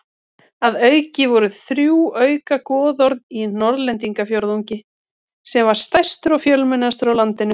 Að auki voru þrjú auka goðorð í Norðlendingafjórðungi sem var stærstur og fjölmennastur á landinu.